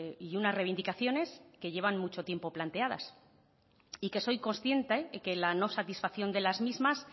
y unas reivindicaciones que llevan mucho tiempo planteadas y que soy consciente de que la no satisfacción de las mismas